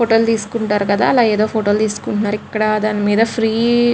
ఫోటోలు తీసుకుంటారు కదా ఏదో ఫోటోలు తీస్కుంటున్నారు ఇక్కడ దాన్ మీద ఫ్రీ --